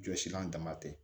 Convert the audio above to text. Jɔsilan dama tɛ